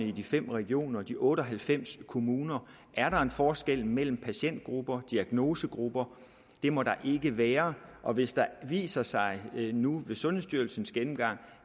i de fem regioner og de otte og halvfems kommuner er der en forskel mellem patientgrupper diagnosegrupper det må der ikke være og hvis det viser sig nu ved sundhedsstyrelsens gennemgang